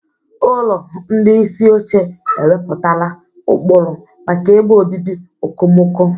Ụlọ ndị isi oche ewepụtala ụkpụrụ maka ebe obibi okomoko.